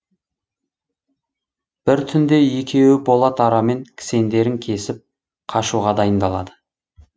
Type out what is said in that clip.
бір түнде екеуі болат арамен кісендерін кесіп қашуға дайындалады